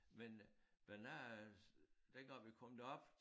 Men Bernard er dengang vi kom derop